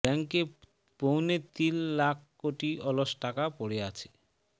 ব্যাংকে পৌনে তিল লাখ কোটি অলস টাকা পড়ে আছে